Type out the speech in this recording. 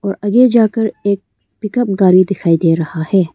और आगे जाकर एक पिकअप गाड़ी दिखाई दे रहा है।